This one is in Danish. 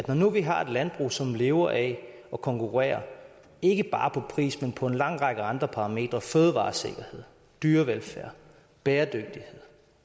når nu vi har et landbrug som lever af at konkurrere ikke bare på pris men på en lang række andre parametre fødevaresikkerhed dyrevelfærd bæredygtighed